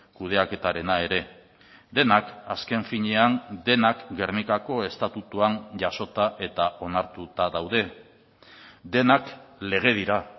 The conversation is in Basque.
kudeaketarena ere denak azken finean denak gernikako estatutuan jasota eta onartuta daude denak legedira